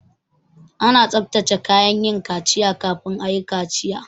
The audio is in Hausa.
Ana tsabtace kayan yin kaciya kafin ayi kaciya